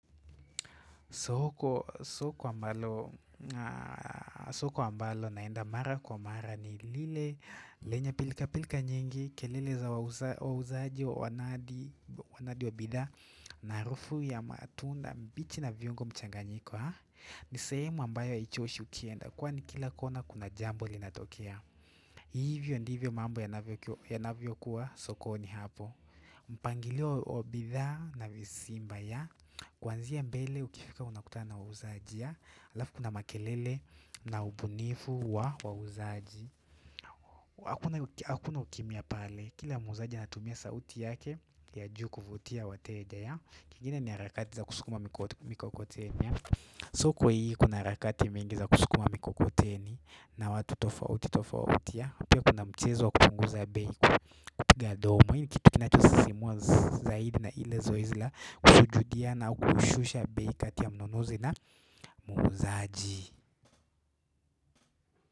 Soko ambalo naenda mara kwa mara ni lile lenye pilkapilka nyingi kelele za wauzaji wanadi wanadi wa bidhaa na harufu ya matunda mbichi na viungo mchanganyiko ha. Ni sehemu ambayo haichuoshi ukienda kwani kila kona kuna jambo linatokea. Hivyo ndivyo mambo yanavyo kuwa sokoni hapo. Mpangilio wa bidhaa na visimba ya kwanzia mbele ukifika unakutana na wauzaji alafu kuna makele na ubunifu wa wauzaji hapo hakuna ukimya pale kila muuzaji anatumia sauti yake ya juu kuvutia wateja ya kingine ni harakati za kusukuma mikokoteni ya so kwa hii kuna harakati mingi za kusukuma mikokoteni na watu tofauti tofauti pia kuna mchezo wa kupunguza bei kupiga domo hii ni kitu kinacho sisimuwa zaidi na ile zoezi la kusujudia na kushusha bei kati ya mnunuzi na muuzaji.